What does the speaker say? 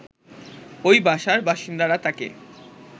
ওই বাসার বাসিন্দারা তাকে